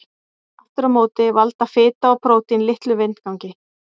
Aftur á móti valda fita og prótín litlum vindgangi.